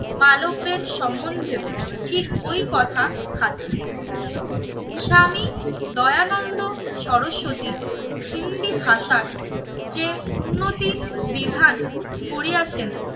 মালব্যের সম্বন্ধেও ঠিক ওই কথা খাটে। স্বামী দয়ানন্দ সরস্বতী হিন্দি ভাষায় যে উন্নতি বিধান করিয়াছেন